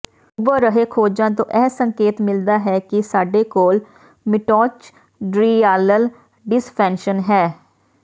ਉਭਰ ਰਹੇ ਖੋਜਾਂ ਤੋਂ ਇਹ ਸੰਕੇਤ ਮਿਲਦਾ ਹੈ ਕਿ ਸਾਡੇ ਕੋਲ ਮਿਟੌਚਡ੍ਰਿਯਾਲਲ ਡਿਸਫੇਨਸ਼ਨ ਹੈ